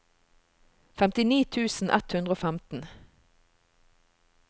femtini tusen ett hundre og femten